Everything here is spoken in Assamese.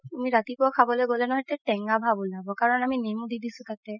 তুমি ৰাতিপুৱাই খাব গ'লে নহয় এইটো টেঙা ভাব উলাব কাৰণ আমি নেমু দি দিছো তাতে